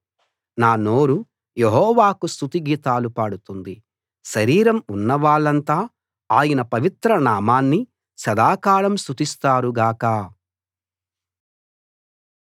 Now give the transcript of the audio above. నా నోరు యెహోవాకు స్తుతి గీతాలు పాడుతుంది శరీరం ఉన్నవాళ్ళంతా ఆయన పవిత్ర నామాన్ని సదాకాలం స్తుతిస్తారు గాక